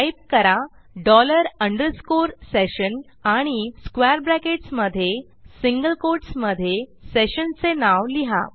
type करा dollar underscore session आणि square brackets मधे सिंगल कोटसमधे sessionचे नाव लिहा